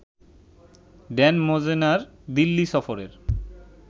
Dan মোজেনার দিল্লি সফরের